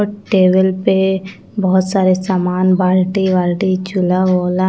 और टेबल पे बहुत सारे सामान बाल्टी-वाल्टी चुला वुला--